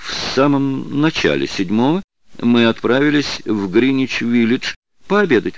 в самом начале седьмого мы отправились в гринвич виллидж пообедать